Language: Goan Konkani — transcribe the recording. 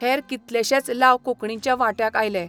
हेर कितलेशेच लाव कोंकणीच्या वांट्याक आयले.